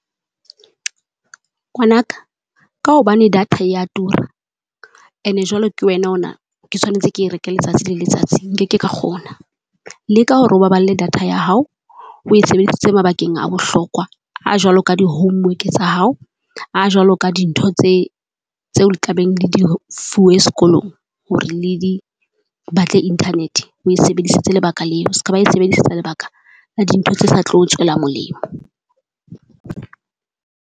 Ngwanaka, ka hobane data ya tura. Ene jwale ke wena o na, ke tshwanetse ke reke letsatsi le letsatsi nkeke ka kgona. Le ka hore o baballe data ya hao, oe sebedisitse mabakeng a bohlokwa. A jwalo ka di homework tsa hao, a jwalo ka dintho tse tseo le tlabeng le di fuwe sekolong, hore le di batle Internet. Oe sebedisetse lebaka leo, ska ba e sebedisetsa lebaka la dintho tse sa tlo tswela molemo.